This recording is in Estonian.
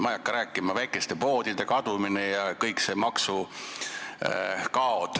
Ma ei hakka rääkimagi: väikeste poodide kadumine ja kõik maksukaod.